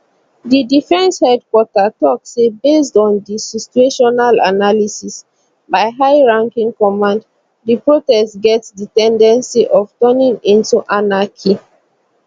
di defence headquarter tok say based on di situational analysis by high ranking command di protest get di ten dency of turning into anarchy